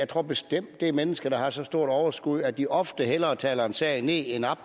tror bestemt det er mennesker der har så stort overskud at de ofte hellere taler en sag ned end op